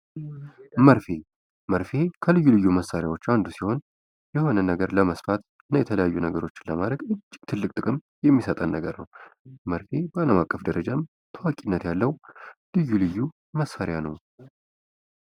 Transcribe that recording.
መርፌ መርፌ ልዩ ልዩ መሳሪያዎች አንዱ ሲሆን የሆነ ነገር ለመስፋት የተለያዩ ነገሮች ለማድረግ ትልቅ ጥቅም የሚሰጥን ነገር ነው። መርፌ በአለም አቀፍ ደረጃም ታዋቂነት ያለው ልዩ ልዩ መሳሪያ ነው።